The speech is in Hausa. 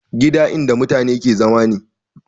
Gida in da matane ke zama ne